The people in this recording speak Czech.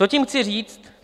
Co tím chci říct?